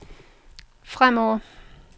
fremover